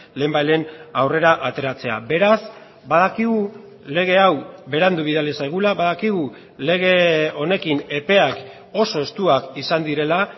lehenbailehen aurrera ateratzea beraz badakigu lege hau berandu bidali zaigula badakigu lege honekin epeak oso estuak izan direla